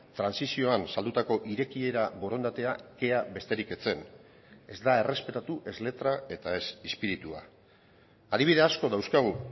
trantsizioan saldutako irekiera borondatea kea besterik ez zen ez da errespetatu ez letra eta ez espiritua adibidea asko dauzkagu